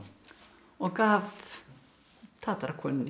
og gaf